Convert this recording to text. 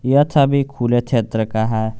यह छवि खुला क्षेत्र का है।